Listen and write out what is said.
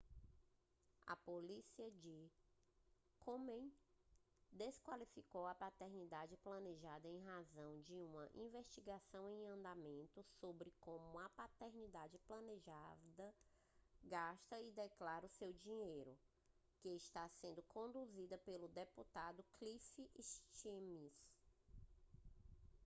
a política de komen desqualificou a paternidade planejada em razão de uma investigação em andamento sobre como a paternidade planejada gasta e declara seu dinheiro que está sendo conduzida pelo deputado cliff stearns